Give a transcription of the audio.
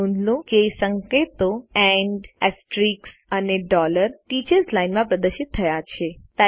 નોંધ લો કે સંકેતો એએમપી અને ટીચર્સ લાઇન માં પ્રદર્શિત થયા છે